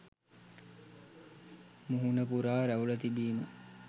මුහුණ පුරා රැවුල තිබීම